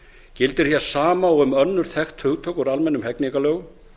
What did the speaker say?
gildir hér sama og um önnur þekkt hugtök úr almennum hegningarlögum